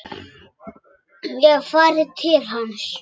Ég hef farið til hans.